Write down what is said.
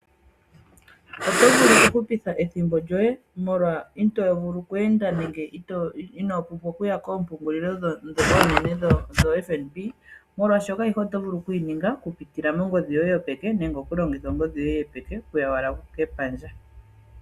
Otovulu kuhupitha ethimbo lyoye molwa itoovule oku enda nenge inoopumbwa kuya koompungulilo ndhoka oonene dho FNB molwaashoka ayihe oto vulu okuyi ninga okuziilila mongodhi yoye yopeke nenge okulongitha ongodhi yoye yopeke okuya kepandja.